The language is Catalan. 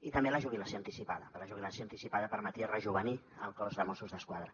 i també la jubilació anticipada que la jubilació anticipada permetia rejovenir el cos de mossos d’esquadra